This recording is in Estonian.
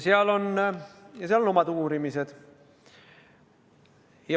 Seal on oma uurimised.